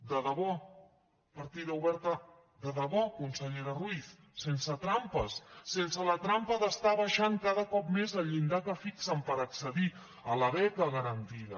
de debò partida oberta de debò consellera ruiz sense trampes sense la trampa d’estar abaixant cada cop més el llindar que fixen per accedir a la beca garantida